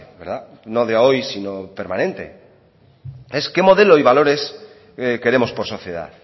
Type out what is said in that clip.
verdad no de hoy sino permanente es qué modelo y valores queremos por sociedad